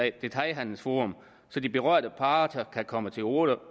et detailhandelsforum så de berørte parter kan komme til orde